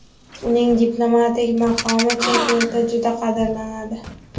Uning diplomatik maqomi chet elda juda qadrlanadi.